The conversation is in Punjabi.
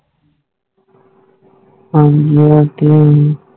ਹਾਂ ਜੀ ਹੋਰ ਕਿ